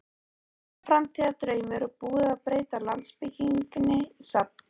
Framtíðardraumur og búið að breyta landsbyggðinni í safn.